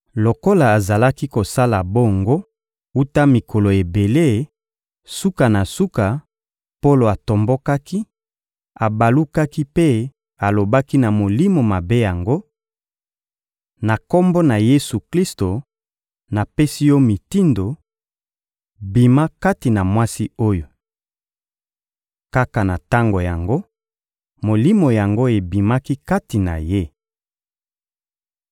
Lokola azalaki kosala bongo wuta mikolo ebele, suka na suka, Polo atombokaki, abalukaki mpe alobaki na molimo mabe yango: — Na Kombo na Yesu-Klisto, napesi yo mitindo: bima kati na mwasi oyo! Kaka na tango yango, molimo yango ebimaki kati na ye.